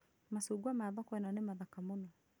Machungwa ma thoko ĩno nĩ mathaka mũno